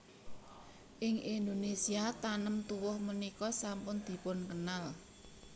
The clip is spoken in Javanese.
Ing Indonésia tanem tuwuh punika sampun dipunkenal